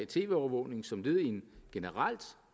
tv overvågning som led i en generelt